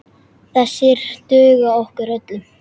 Þessir duga okkur öllum.